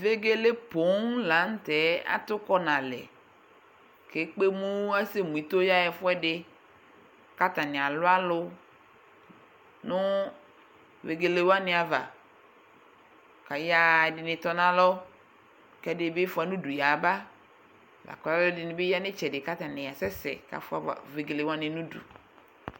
Vegele poo la nʋ tɛ atʋkɔ nʋ alɛ kʋ ekpe emu, asɛmu ito yaɣa ɛfʋɛdɩ kʋ atanɩ alʋ alʋ nʋ vegele wanɩ ava kʋ ayaɣa, ɛdɩnɩ tɔ nʋ alɔ kʋ ɛdɩ bɩ fʋa nʋ udu yaba, la kʋ alʋɛdɩnɩ bɩ ya nʋ ɩtsɛdɩ kʋ atanɩ asɛsɛ kʋ afʋa vegele wanɩ nʋ udu